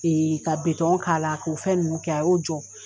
Ee ka bɛtɔn k'ala k'o fɛn nunu kɛ a y'o jɔ.